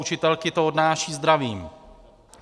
Učitelky to odnášejí zdravím.